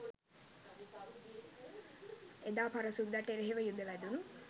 එදා පර සුද්දට එරෙහිව යුධ වැදුණු